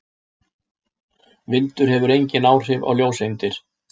Vindur hefur engin áhrif á ljóseindir.